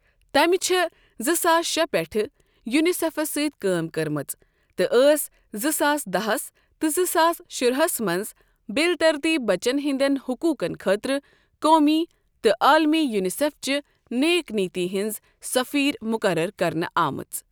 تمہِ چھےٚ زٕ ساس شےٚ پیٚٹھٕ یوٗنِسیٚفس سٟتؠ کٲم کٔرمٕژ تہٕ ٲس زٕ ساس دہس تہٕ زٕ ساس شُراہس منٛز بِل ترتیٖب بَچن ہِنٛدیٚن حٔقوٗقن خٲطرٕ قومی تہٕ عالمی یوٗنِسیٚفچہِ نیک نِیَتی ہِنٛز سٔفیٖر مُقرر کرنہٕ آمٕژ۔